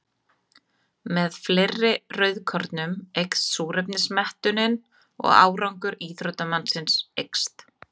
Með fleiri rauðkornum eykst súrefnismettunin og árangur íþróttamannsins eykst.